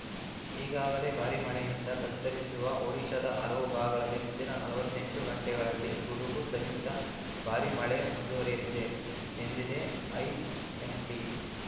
ಈಗಾಗಲೇ ಭಾರೀ ಮಳೆಯಿಂದ ತತ್ತರಿಸಿರುವ ಒಡಿಶಾದ ಹಲವು ಭಾಗಗಳಲ್ಲಿ ಮುಂದಿನ ನಲವತ್ತೆಂಟು ಗಂಟೆಗಳಲ್ಲಿ ಗುಡುಗು ಸಹಿತ ಭಾರೀ ಮಳೆ ಮುಂದುವರಿಯಲಿದೆ ಎಂದಿದೆ ಐಎಂಡಿ